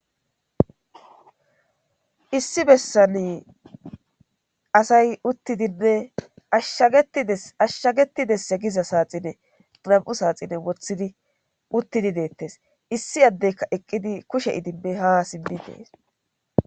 issi bessani asay uttidinne ashshagetidesse giza saaxine nam7u saaxine wothidi uttidi deettes issi addeyka eqqidi kushe idibbe ha simmi dees